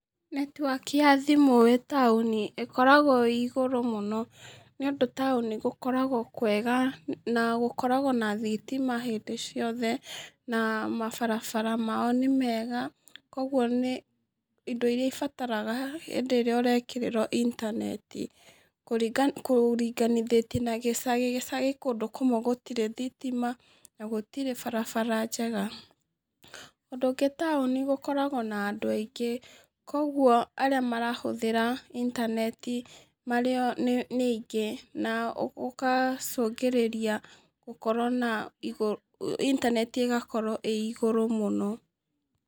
Netĩwaki ya thimu wĩ taũni ĩkoragwo ĩ ĩgũrũ mũno, nĩ ũndũ taũni gũkoragwo kwega na gũkoragwo na thitima hĩndĩ ciothe na mabarabara mao nĩ mega, ũguo indo irĩa ibataraga hindĩ ĩrĩa ũrekĩrĩrwo intaneti kũrĩnganithĩtie na gĩcagi, gĩcagi kũndũ kũmwe gũtirĩ thitima na gũtirĩ barabra njega. Ũndũ ũngĩ taũni gũkoragwo na andũ aingĩ, koguo arĩa marahũthĩra intaneti marĩo nĩ aingĩ na ũgacũngĩrĩria gũkorwo na intaneti igakorwo ĩ igũrũ mũno.